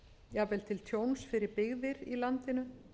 jafnvel til tjóns fyrir byggðir í landinu